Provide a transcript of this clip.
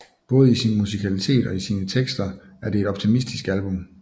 Både i sin musikalitet og i sine tekster er det et optimistisk album